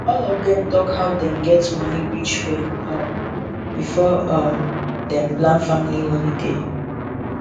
all of dem talk how dem get money reach well um before um dem plan family holiday